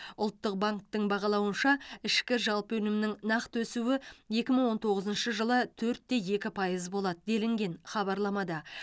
ұлттық банктің бағалауынша ішкі жалпы өнімнің нақты өсуі екі мың он тоғызыншы жылы төртте екі пайыз болады делінген хабарламада